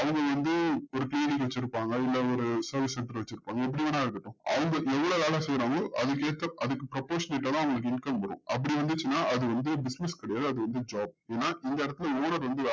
அவங்க வந்து ஒரு TV வச்சுருப்பாங்க இல்ல ஒரு service center வச்சுருப்பாங்க எப்டி வேணுன்னா இருக்கட்டும் அவங்க என்ன வேல செய்றாங்களோ அதுக்கு ஏத்த அதுக்கு அவங்களுக்கு income வரும் அப்டி வந்துச்சுனா அது வந்து business கெடையாது அது வந்து job ஏன்னா இந்த எடத்துல